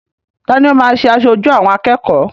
Ta ni ó máa ṣe aṣojú àwọn akẹ́kọ̀ọ́?